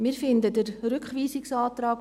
Wir finden den Rückweisungsantrag